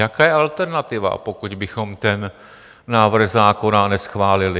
Jaká je alternativa, pokud bychom ten návrh zákona neschválili?